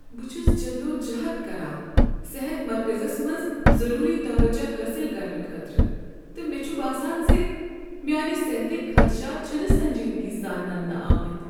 بہٕ چھس جدوجہد کران صحت مرکزس منٛز ضروری توجہ حٲصل کرنہٕ خٲطرٕ، تہٕ مےٚ چھ باسان ز میٛانہ صحتٕکۍ خدشات چھنہٕ سنجیدگی سان ننہٕ آمٕتۍ۔